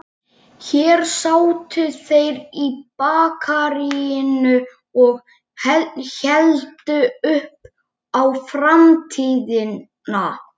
Þó eru gulbrúnir þúfnakollar að vakna til lífsins.